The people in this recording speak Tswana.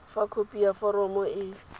fa khopi ya foromo e